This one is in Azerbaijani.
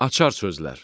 Açar sözlər.